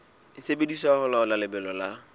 sebediswa ho laola lebelo la